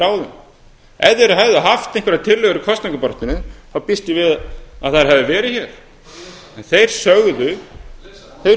ef þeir hefðu haft einhverjar tillögur í kosningabaráttunni þá býst ég við að þær hefðu verið hér en þeir